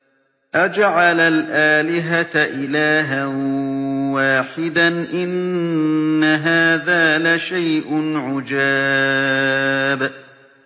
أَجَعَلَ الْآلِهَةَ إِلَٰهًا وَاحِدًا ۖ إِنَّ هَٰذَا لَشَيْءٌ عُجَابٌ